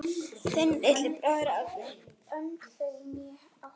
Þinn litli bróðir, Árni.